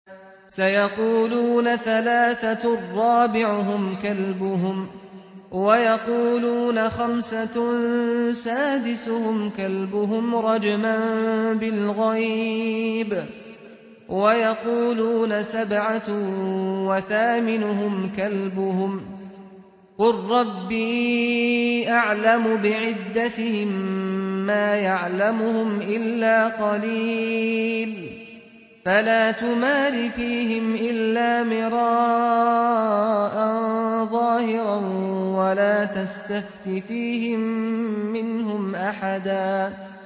سَيَقُولُونَ ثَلَاثَةٌ رَّابِعُهُمْ كَلْبُهُمْ وَيَقُولُونَ خَمْسَةٌ سَادِسُهُمْ كَلْبُهُمْ رَجْمًا بِالْغَيْبِ ۖ وَيَقُولُونَ سَبْعَةٌ وَثَامِنُهُمْ كَلْبُهُمْ ۚ قُل رَّبِّي أَعْلَمُ بِعِدَّتِهِم مَّا يَعْلَمُهُمْ إِلَّا قَلِيلٌ ۗ فَلَا تُمَارِ فِيهِمْ إِلَّا مِرَاءً ظَاهِرًا وَلَا تَسْتَفْتِ فِيهِم مِّنْهُمْ أَحَدًا